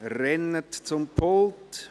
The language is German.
Rennen Sie zum Pult!